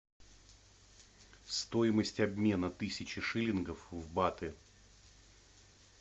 стоимость обмена тысячи шиллингов в баты